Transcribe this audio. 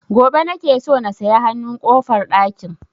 Gobe nake so na saya hanun ƙofar ɗakin